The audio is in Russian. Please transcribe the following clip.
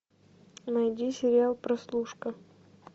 найди сериал прослушка